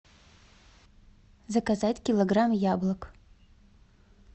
заказать килограмм яблок